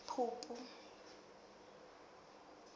phupu